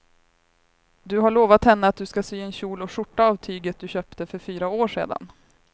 Du har lovat henne att du ska sy en kjol och skjorta av tyget du köpte för fyra år sedan.